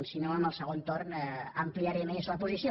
si no en el segon torn ampliaré més la posició